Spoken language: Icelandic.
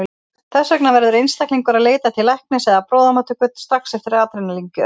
Þess vegna verður einstaklingur að leita til læknis eða á bráðamóttöku strax eftir adrenalín-gjöf.